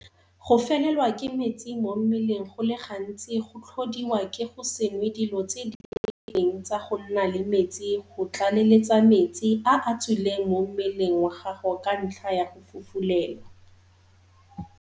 Go felelwa ke metsi mo mmeleng go le gantsi go tlhodiwa ke go se nwe dilo tse di lekaneng tsa go nna le metsi go tlaleletsa metsi a a tswileng mo mmeleng wa gago ka ntlha ya go fufulelwa.